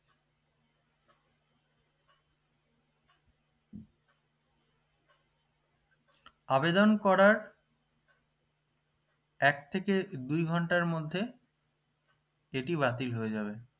আবেদন করার এক থেকে দুই ঘন্টার মধ্যে এটি বাতিল হয়ে যাবে